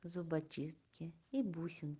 зубочистки и бусин